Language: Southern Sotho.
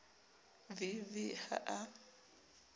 v v v ha a